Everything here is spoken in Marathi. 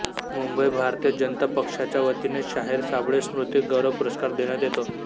मुंबई भारतीय जनता पक्षाच्या वतीने शाहीर साबळे स्मृती गौरव पुरस्कार देण्यात येतो